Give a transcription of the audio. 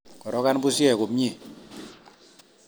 Korokan bushek komie